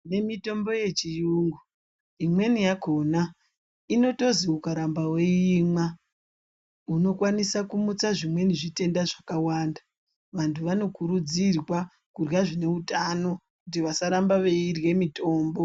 Nemitombo yechiyungu imweni yakona inotozi ukaramba veiimwa unokwanisa kumutsa zvimweni zvitenda zvakawanda. Vantu vanokurudzirwa kurya zvineutano vasaramba veirye mitombo.